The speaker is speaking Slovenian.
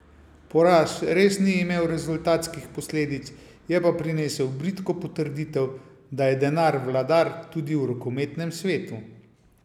Poraz res ni imel rezultatskih posledic, je pa prinesel bridko potrditev, da je denar vladar tudi v rokometnem svetu.